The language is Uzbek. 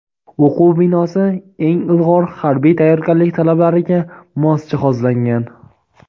O‘quv binosi eng ilg‘or harbiy tayyorgarlik talablariga mos jihozlangan.